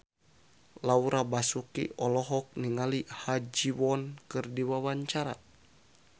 Laura Basuki olohok ningali Ha Ji Won keur diwawancara